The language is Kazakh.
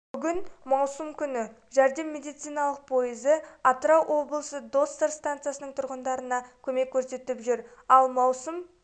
бүгін маусым күні жәрдем медициналық пойызы атырау облысы доссор станцияның тұрғындарына көмек көрсетіп жұр ал маусым